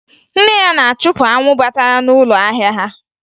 Nne ya na-achụpụ anwụ batara n'ụlọ ahịa ha